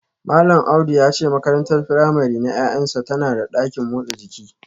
Malam Audu ya ce makarantar firamare na ’ya’yansa tana da dakin motsa jiki